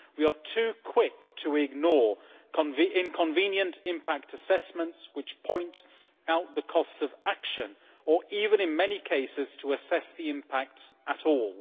We are too quick to ignore inconvenient impact assessments which point out the costs of action or even, in many cases, fail to assess the impacts at all.